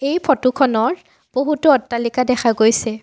এই ফটোখনৰ বহুতো অট্টালিকা দেখা গৈছে।